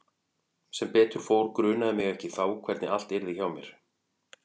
Sem betur fór grunaði mig ekki þá hvernig allt yrði hjá mér.